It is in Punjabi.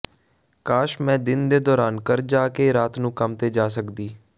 ਕਾਸ਼ ਮੈਂ ਦਿਨ ਦੇ ਦੌਰਾਨ ਘਰ ਜਾ ਕੇ ਰਾਤ ਨੂੰ ਕੰਮ ਤੇ ਜਾ ਸਕਦੀ